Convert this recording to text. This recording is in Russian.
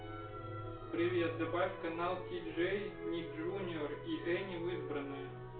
привет добавь канал тиджей ник джуниор и эни в избранные